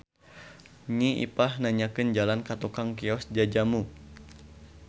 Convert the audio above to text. Nyi Ipah nanyakeun jalan ka tukang kios jajamu.